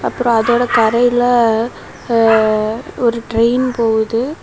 அப்றோ அதோட தரைலே ஆ ஒரு ட்ரெயின் போகுது.